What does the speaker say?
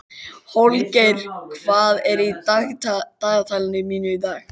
Holgeir, hvað er í dagatalinu mínu í dag?